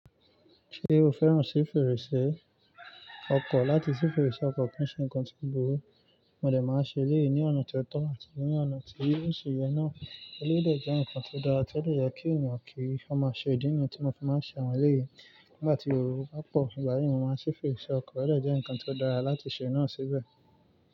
Ṣé o fẹ́ràn sí fèrèsé ọkọ̀, láti sí fèrèsé ọkọ̀ kí ń ṣe nǹkan tí o burú. Mo dẹ̀ máa ń ṣe eléyìí ní ọ̀nà ti o tọ́ àti ní ọ̀nà tí ó si yẹ náà. Eléyìí dè jẹ́ ǹkan tó dára tí ó dè yẹ kí èèyàn kí i. Ọ mo ṣe, ìdí nìyẹn tí mo fi máa ń ṣe àwọn eléyìí. Nígbà tí erò bá pọ̀, ìgbà yẹn mo máa ń ṣí fèrèsé ọkọ̀, ó dè jẹ́ ǹkan tí ó dára láti ṣe náà síbẹ̀.